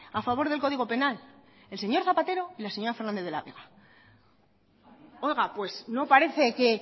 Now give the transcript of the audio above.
a favor del código penal el señor zapatero y la señora fernández de la vega oiga pues no parece que